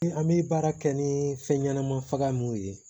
An bɛ baara kɛ ni fɛn ɲɛnama faga mun ye